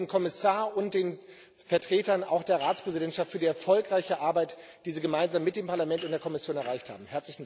Ich danke dem Kommissar und den Vertretern der Ratspräsidentschaft für die erfolgreiche Arbeit, die sie gemeinsam mit dem Parlament und der Kommission geleistet haben.